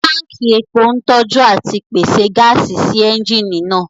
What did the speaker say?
Tánkì epo ń tọ́jú àti pèsè gáàsì sí ẹ́ńjìnì náà